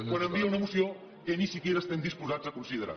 quan envia una moció que ni tan sols estem disposats a considerar